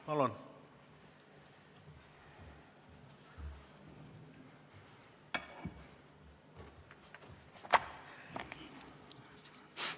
Palun!